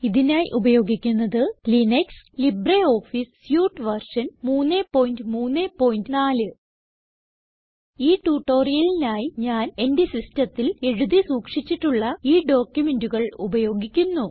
ഇതിനായി ഉപയോഗിക്കുന്നത് Linux LibreOffice suite version 334 ഈ ട്യൂട്ടോറിയലിനായി ഞാൻ എന്റെ സിസ്റ്റത്തിൽ എഴുതി സൂക്ഷിച്ചിട്ടുള്ള ഈ ഡോക്യുമെന്റുകൾ ഉപയോഗിക്കുന്നു